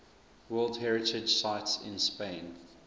world heritage sites in spain